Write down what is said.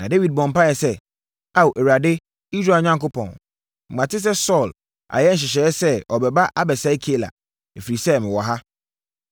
Na Dawid bɔɔ mpaeɛ sɛ, “Ao, Awurade, Israel Onyankopɔn, mate sɛ Saulo ayɛ nhyehyɛeɛ sɛ ɔbɛba abɛsɛe Keila, ɛfiri sɛ, mewɔ ha.